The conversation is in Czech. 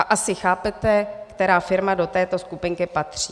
A asi chápete, která firma do této skupinky patří.